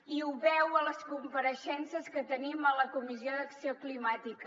i ho veu a les compareixences que tenim a la comissió d’acció climàtica